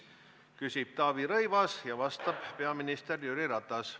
Küsib Taavi Rõivas ja vastab peaminister Jüri Ratas.